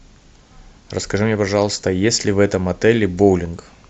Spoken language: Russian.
расскажи мне пожалуйста есть ли в этом отеле боулинг